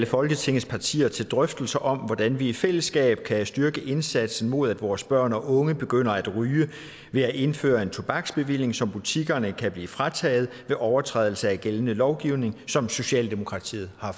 folketingets partier til drøftelser om hvordan vi i fællesskab kan styrke indsatsen mod at vores børn og unge begynder at ryge ved at indføre en tobaksbevilling som butikkerne kan blive frataget ved overtrædelse af gældende lovgivning som socialdemokratiet har